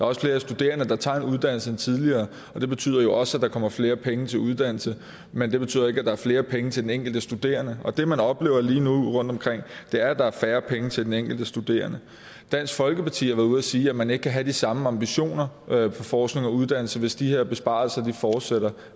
også flere studerende der tager en uddannelse end tidligere og det betyder jo også at der kommer flere penge til uddannelse men det betyder ikke at der er flere penge til den enkelte studerende det man oplever lige nu rundtomkring er at der er færre penge til den enkelte studerende dansk folkeparti har været ude og sige at man ikke kan have de samme ambitioner for forskning og uddannelse hvis de her besparelser fortsætter